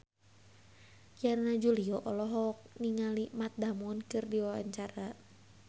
Yana Julio olohok ningali Matt Damon keur diwawancara